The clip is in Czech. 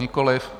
Nikoliv.